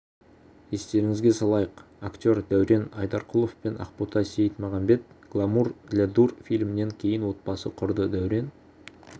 естеріңізге салайық актер дәурен айдарқұлов пен ақбота сейітмағамбет гламур для дур фильмінен кейін отбасын құрды дәурен